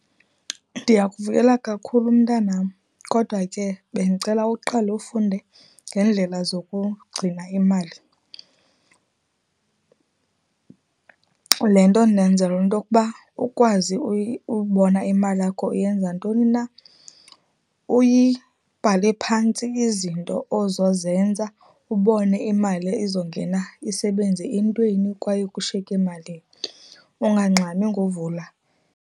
Ndiyakuvuyela kakhulu, mntanam, kodwa ke bendicela uqale ufunde ngendlela zokugcina imali , le nto ndenzela into kuba ukwazi ubona imali yakho uyenza ntoni na, uyibhale phantsi izinto ozozenza, ubone imali izongena isebenze entweni, kwaye kushiyeke malini. Ungangxami ngovula.